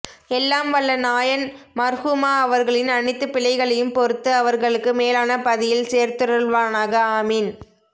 எல்லாம் வல்ல நாயன் மா்ஹூமா அவர்களின் அனைத்து பிழைகளையும் பொறுத்து அவா்களுக்கு மேலான பதியில் சேர்த்தருள்வானாக ஆமீன்